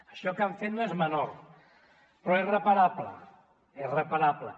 això que han fet no és menor però és reparable és reparable